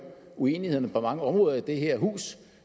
uenighederne på mange områder i det her hus